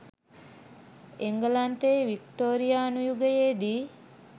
එංගලන්තයේ වික්ටෝරියානු යුගයේදී